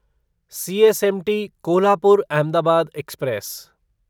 CSMT Kolhapur Ahmedabad express